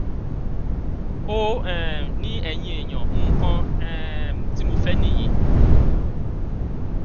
ó um ní ẹyin èèyàn nǹkan um tí mo fẹ nìyí